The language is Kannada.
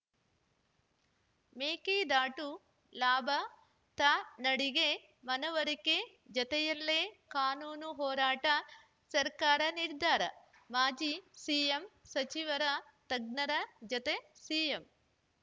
ಮೇಕೆದಾಟು ಲಾಭ ತನಾಡಿಗೆ ಮನವರಿಕೆ ಜತೆಯಲ್ಲೇ ಕಾನೂನು ಹೋರಾಟ ಸರ್ಕಾರ ನಿರ್ಧಾರ ಮಾಜಿ ಸಿಎಂ ಸಚಿವರು ತಜ್ಞರ ಜತೆ ಸಿಎಂ